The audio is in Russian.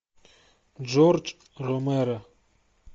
джордж ромеро